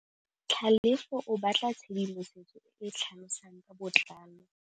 Tlhalefô o batla tshedimosetsô e e tlhalosang ka botlalô.